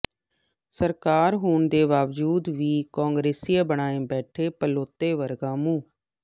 ਸਰਕਾਰ ਹੋਣ ਦੇ ਬਾਵਜੂਦ ਵੀ ਕਾਂਗਰਸੀਏ ਬਣਾਈ ਬੈਠੇ ਭੜੋਲੇ ਵਰਗਾ ਮੂੰਹ